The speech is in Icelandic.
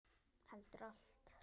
Heldur allt.